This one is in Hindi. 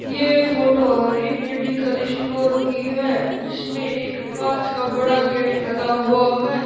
ये फोटो हरि मेडिकल स्टोर की है जिसमें एक कांच का बड़ा गेट लगा हुआ है।